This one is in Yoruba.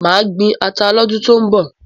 Màá gbin ata lọ́dún tó ń bọ̀.